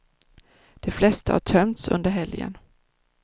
De flesta har tömts under helgen.